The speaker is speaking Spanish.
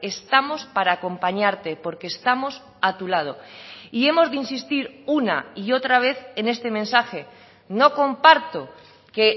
estamos para acompañarte porque estamos a tu lado y hemos de insistir una y otra vez en este mensaje no comparto que